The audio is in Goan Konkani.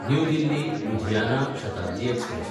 new दिल्ली–लुधियाना Shatabdi express